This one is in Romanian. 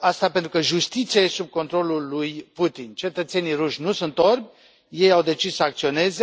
asta pentru că justiția e sub controlul lui Putin. Cetățenii ruși nu sunt orbi, ei au decis să acționeze